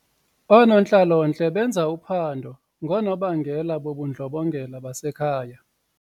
Oonontlalontle benza uphando ngoonobangela bobundlobongela basekhaya.